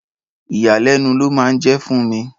Ìyàlẹ́nu ló máa ń jẹ́ fún mi.